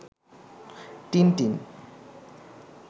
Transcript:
Tintin